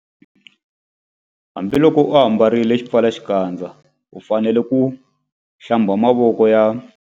Hambiloko u ambarile xipfalaxikandza u fanele ku- Hlamba mavoko ya.